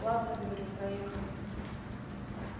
ладно говорю проехали